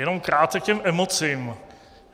Jenom krátce k těm emocím.